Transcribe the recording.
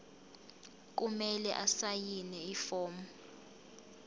kumele asayine ifomu